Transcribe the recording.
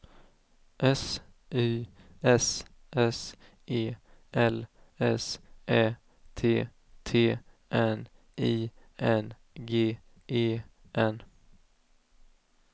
S Y S S E L S Ä T T N I N G E N